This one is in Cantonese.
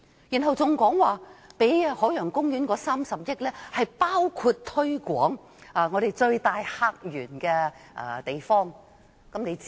然後還說撥給海洋公園的3億元，包括用於最大客源的地方推廣海洋公園。